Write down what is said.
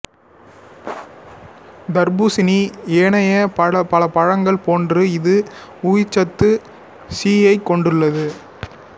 தர்ப்பூசணி ஏனைய பல பழங்கள் போன்று இது உயிர்ச்சத்து சியைக் கொண்டுள்ளது